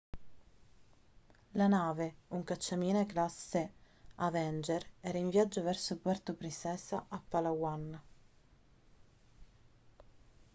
la nave un cacciamine classe avenger era in viaggio verso puerto princesa a palawan